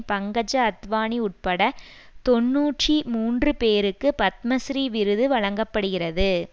பங்கஜ அத்வானி உட்பட தொன்னூற்றி மூன்று பேருக்கு பத்மஸ்ரீ விருது வழங்க படுகிறது